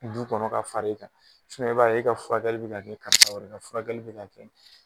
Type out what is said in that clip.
Du kɔnɔ ka far'i kan i b'a ye e ka furakɛli bɛ ka kɛ furakɛli bɛ ka kɛ